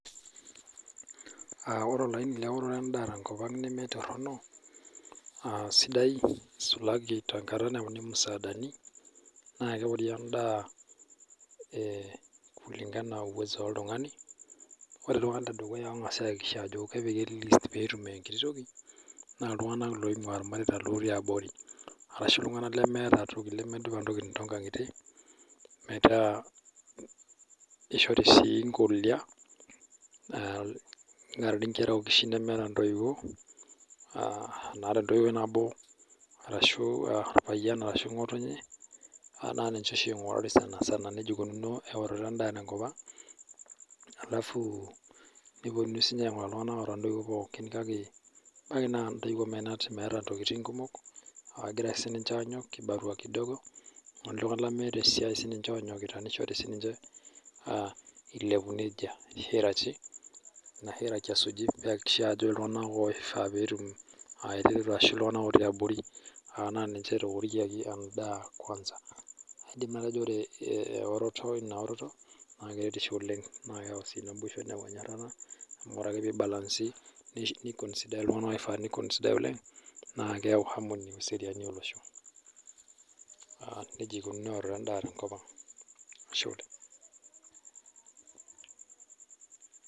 Wore olaini leworoto endaa tenkop ang' nemetorrono, sidai sulaki tenkata nauni imusaadani, naa kewori endaa kulingana enaa uwezo oltungani. Wore iltunganak ledukuya oongasi ayakikisha ajo kepiki e list peetum enkiti toki, naa iltunganak loingua ilmareita lootii abori, arashu iltunganak lemeeta toki, lemedupa intokitin toonkangitie, metaa kishori sii inkolia, nishori inkera ookishin nemeeta intoiuo, naata entoiwoi nabo arashu orpayian ashu ngotonye, naa ninche oshi ingurari sanisana. Nejia ikununuo eoroto endaa tenkop ang', alafu neponunui siinye ainguraa iltunganak oata intoiuo pookin kake naa intoiuo meenat meeta intokitin kumok, naakira ake sininche aanyok kibarua kidogo, oltungani lemeeta esiai sininche oonyokita nishoru sininche ishori nejia. Ina hierarchy pee iakikishai ajo iltunganak oifaa pee etum ashu iltunganak otii abori ninche etoorikiaki endaa kwansa. Aidim atejo wore eoroto, inaoroto naa keretisho oleng' naa keyau sii naboisho neyau enyorata amu wore ake pee ibalansi, niconsidai iltunganak oifaa niconsidai oleng', naa keyau harmony ashu eseriani olosho. Nejia ikununuo eoroto endaa tenkop ang', Ashe oleng'.